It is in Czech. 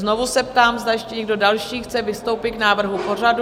Znovu se ptám, zda ještě někdo další chce vystoupit k návrhu pořadu?